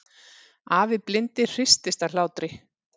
Afi blindi hristist af hlátri.